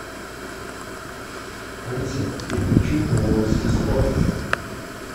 алиса переключи на новости спорта